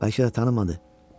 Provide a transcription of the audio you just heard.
Bəlkə tanımadı.